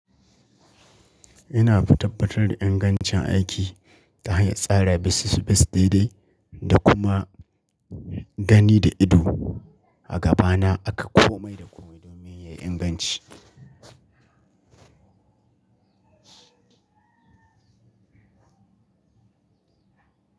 Ina fa tabbatar da ingancin aiki ta hanyar tsara bisis-bis daidai da kuma gani da ido. A gaba na aka komai da komai don me? Yayi inganci.